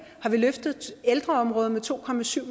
har vi løftet ældreområdet med to